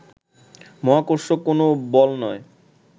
মহাকর্ষ কোন বল নয়